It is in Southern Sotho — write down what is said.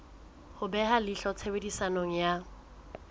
ho beha leihlo tshebediso ya